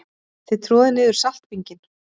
Þið troðið niður saltbinginn.